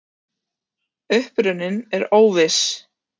Uppruninn er óviss.